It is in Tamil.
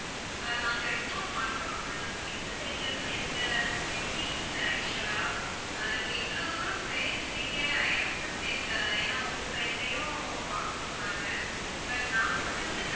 நாங்க report பண்றோம் ma'am எங்க side ல இருந்து எந்த mistakes ஏ இல்லை actual ஆ ஆஹ் நீங்க இவ்வளோ தூரம் பேசுறிங்க i accept it ஏன்னா உங்க side லயும் பாக்கணும் நாங்க but நாங்க வந்து,